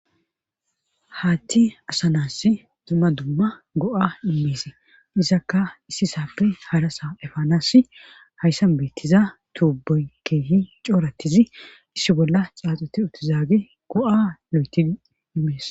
Haatti asanass dumma dumma go'a immeese izakka issi saappe harasa efaanas hayssan beettiza tuubey keehi cooratizi issi bolla xaaxuti utizaage go'a lo'eti imees